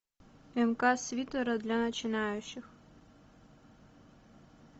мк свитера для начинающих